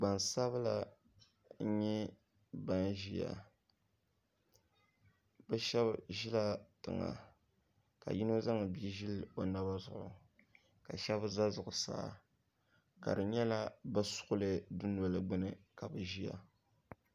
Gbaŋ sabila nyɛ bini ziya bi shɛba zila tiŋa ka yino zaŋ biam zili o naba zuɣu ka shɛba za zuɣusaa ka di nyɛla bi suɣili duu noli gbuni ka bi ziya.